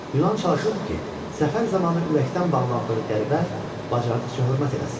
Yunan çalışırdı ki, səfər zamanı ürəkdən bağlandığı qəribə bacardığı qədər hörmət eləsin.